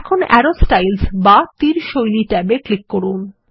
এখন আরো স্টাইলস বা তীর শৈলী ট্যাবে ক্লিক করুন